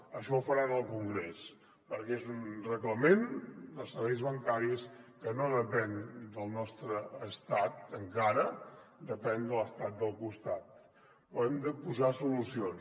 això ho faran al congrés perquè és un reglament dels serveis bancaris que no depèn del nostre estat encara depèn de l’estat del costat però hi hem de posar solucions